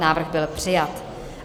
Návrh byl přijat.